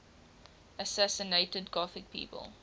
assassinated gothic people